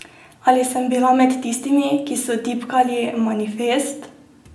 Ali sem bila med tistimi, ki so tipkali Manifest?